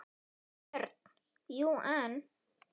BJÖRN: Jú, en.